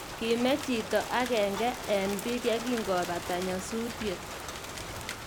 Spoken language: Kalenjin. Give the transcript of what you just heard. Kime chito agenge eng biik ye kingobata nyasutiet